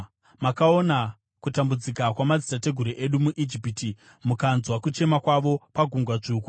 “Makaona kutambudzika kwamadzitateguru edu muIjipiti; mukanzwa kuchema kwavo paGungwa dzvuku.